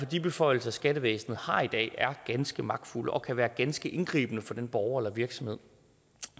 de beføjelser skattevæsenet har i dag ganske magtfulde og kan være ganske indgribende for den borger eller virksomhed